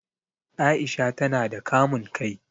Aisha ta na da kamun kai